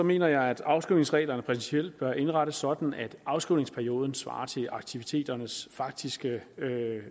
mener jeg at afskrivningsreglerne principielt bør indrettes sådan at afskrivningsperioden svarer til aktiviteternes faktiske